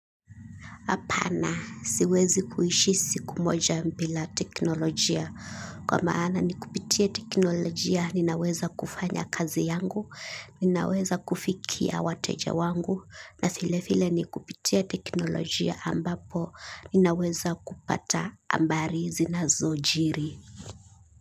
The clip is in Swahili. Hapana, siwezi kuishi siku moja bila teknolojia. Kwa maana ni kupitia teknolojia, ninaweza kufanya kazi yangu, ninaweza kufikia wateja wangu, na vile vile ni kupitia teknolojia ambapo, ninaweza kupata habari zinazojiri.